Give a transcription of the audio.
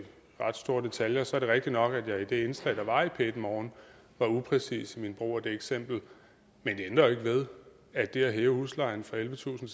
ret store detaljer så er det rigtigt nok at jeg i det indslag der var i p en morgen var upræcis i min brug af det eksempel men det ændrer jo ikke ved at det at hæve huslejen fra ellevetusind